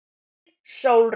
Þín, Sólrún.